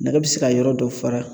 Nɛgɛ bɛ se ka yɔrɔ dɔ fara